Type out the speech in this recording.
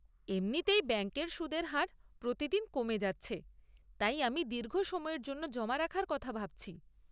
এমনিতেই ব্যাঙ্কের সুদের হার প্রতিদিন কমে যাচ্ছে, তাই আমি দীর্ঘ সময়ের জন্য জমা রাখার কথা ভাবছি।